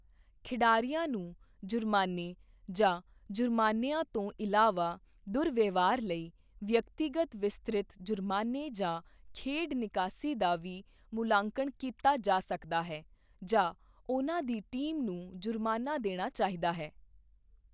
ਖਿਡਾਰੀਆਂ ਨੂੰ ਜੁਰਮਾਨੇ ਜਾਂ ਜੁਰਮਾਨਿਆਂ ਤੋਂ ਇਲਾਵਾ ਦੁਰਵਿਵਹਾਰ ਲਈ ਵਿਅਕਤੀਗਤ ਵਿਸਤ੍ਰਿਤ ਜੁਰਮਾਨੇ ਜਾਂ ਖੇਡ ਨਿਕਾਸੀ ਦਾ ਵੀ ਮੁਲਾਂਕਣ ਕੀਤਾ ਜਾ ਸਕਦਾ ਹੈ ਜਾਂ ਉਨ੍ਹਾਂ ਦੀ ਟੀਮ ਨੂੰ ਜੁਰਮਾਨਾ ਦੇਣਾ ਚਾਹੀਦਾ ਹੈ।